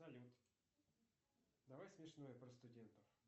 салют давай смешное про студентов